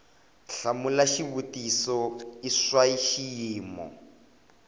hlamula xivutiso i swa xiyimo